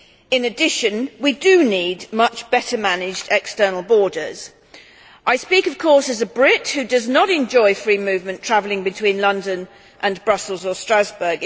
In addition we do need better managed external borders. I speak, of course, as a Brit who does not enjoy free movement travelling between London and Brussels or Strasbourg.